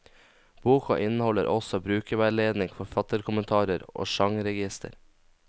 Boka inneholder også brukerveiledning, forfatterkommentarer og sjangerregister.